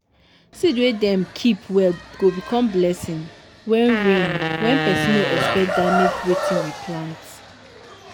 seed wey dem keep well go become blessing wen rain wen pesin nor expect damage wetin we plant.